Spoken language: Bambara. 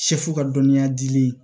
Sɛfu ka dɔnniya dili